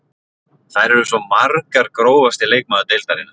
Þær eru svo margar Grófasti leikmaður deildarinnar?